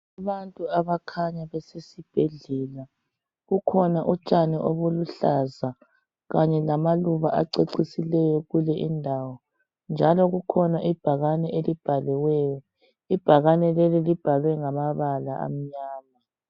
Abantu abakhanya besesibhedlela. Kukhona utshani obuluhlaza, kanye lamaluba acecisileyo kule indawo, njalo kukhona ibhakane elibhaliweyo. Ibhakane leli libhalwe, ngamabala amnyama.